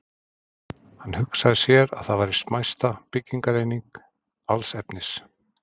Hann hugsaði sér að það væri smæsta byggingareining alls efnis.